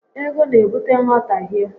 Ego n'ebute nghọtahie